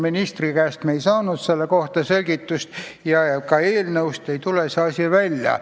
Ministri käest me ei saanud selle kohta selgitust ja ka eelnõust ei tule see välja.